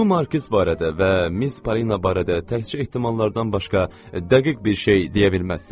Bu markiz barədə və Miz Polina barədə təkcə ehtimallardan başqa dəqiq bir şey deyə bilməzsiz?